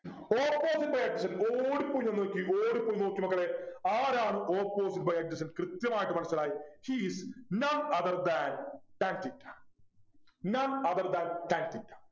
Opposite by adjacent ഓടിപ്പോയി ഒന്ന് നോക്കിയെ ഓടിപ്പോയി നോക്ക് മക്കളെ ആരാണ് Opposite by adjacent കൃത്യമായിട്ട് മനസിലായി He is none other than tan theta none other than tan theta